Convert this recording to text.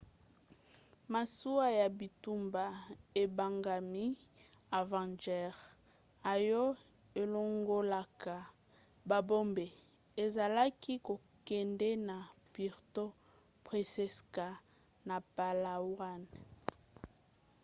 masuwa ya bitumba ebengami avenger oyo elongolaka babombe ezalaki kokende na puerto princesa na palawan